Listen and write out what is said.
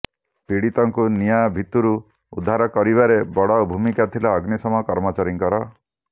ପୀଡ଼ିତଙ୍କୁ ନିଆଁ ଭିତରୁ ଉଦ୍ଧାର କରିବାରେ ବଡ଼ ଭୂମିକା ଥିଲା ଅଗ୍ନିଶମ କର୍ମଚାରୀଙ୍କର